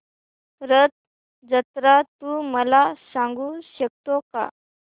रथ जत्रा तू मला सांगू शकतो का